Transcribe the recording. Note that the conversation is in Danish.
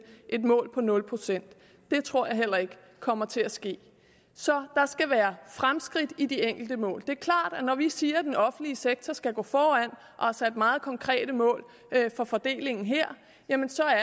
et mål på nul procent det tror jeg heller ikke kommer til at ske så der skal være fremskridt i de enkelte mål det er klart at når vi siger at den offentlige sektor skal gå foran og har sat meget konkrete mål for fordelingen her